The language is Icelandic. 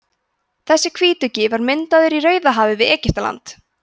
þessi hvítuggi var myndaður í rauðahafi við egyptaland